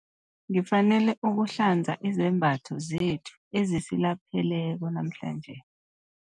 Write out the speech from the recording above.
Ngifanele ukuhlanza izembatho zethu ezisilapheleko namhlanje.